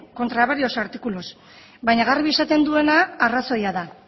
contra varios artículos baina garbi esaten duena arrazoia da